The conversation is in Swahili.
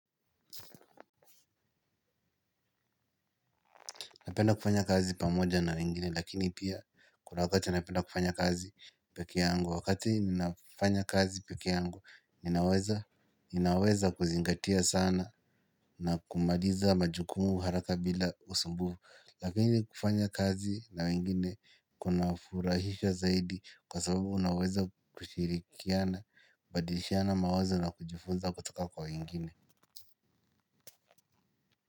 Napenda kufanya kazi pamoja na wengine lakini pia kuna wakati napenda kufanya kazi pekee yangu wakati ninafanya kazi pekee yangu ninaweza ninaweza kuzingatia sana na kumaliza majukumu haraka bila usumbufu. Lakini kufanya kazi na wengine kunafurahisha zaidi kwa sababu unaweza kushirikiana badilishana mawazo na kujifunza kutoka kwa wengine.